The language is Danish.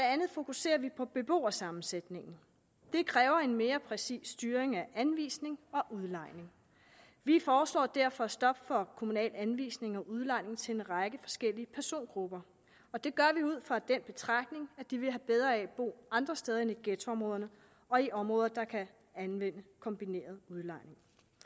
andet fokuserer vi på beboersammensætningen det kræver en mere præcis styring af anvisning og udlejning vi foreslår derfor stop for kommunal anvisning og udlejning til en række forskellige persongrupper og det gør vi ud fra den betragtning at de vil have bedre af at bo andre steder end i ghettoområderne og i områder der kan anvende kombineret udlejning